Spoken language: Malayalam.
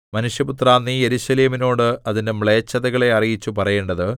മനുഷ്യപുത്രാ നീ യെരൂശലേമിനോട് അതിന്റെ മ്ലേച്ഛതകളെ അറിയിച്ചു പറയേണ്ടത്